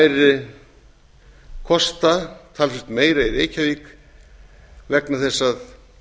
eru kosta talsvert meira í reykjavík vegna þess að